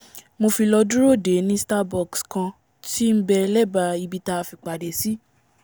mo fi lọ́ dúró dèé ní starbucks kan tí nbẹ lẹ́bàá ibi tí a fìpàdé sí